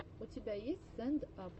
у тебя есть стэнд ап